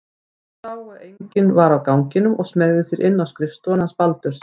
Hann sá að enginn var á ganginum og smeygði sér inn á skrifstofuna hans Baldurs.